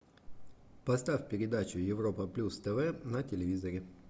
поставь передачу европа плюс тв на телевизоре